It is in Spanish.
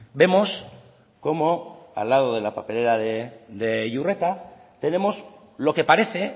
vemos cómo al lado de la papelera de iurreta tenemos lo que parece